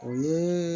O ye